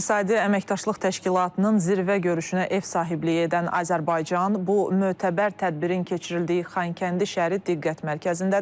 İqtisadi Əməkdaşlıq Təşkilatının zirvə görüşünə ev sahibliyi edən Azərbaycan, bu mötəbər tədbirin keçirildiyi Xankəndi şəhəri diqqət mərkəzindədir.